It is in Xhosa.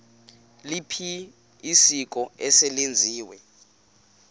liliphi isiko eselenziwe